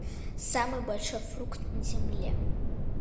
самый большой фрукт на земле